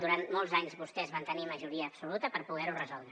durant molts anys vostès van tenir majoria absoluta per poder ho resoldre